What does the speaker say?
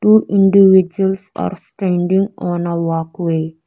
two individuals are standing on a walkway.